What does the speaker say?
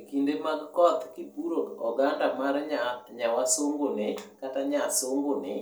Ekinde mag koth kipuro oganda mar nya wasungu ni kata nyasungu ni